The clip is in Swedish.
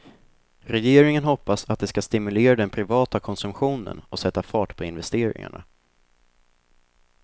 Regeringen hoppas att det ska stimulera den privata konsumtionen och sätta fart på investeringarna.